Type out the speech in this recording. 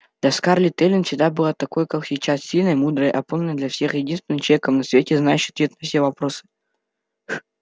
для скарлетт эллин всегда была такой как сейчас сильной мудрой опорой для всех единственным человеком на свете знающим ответ на все вопросы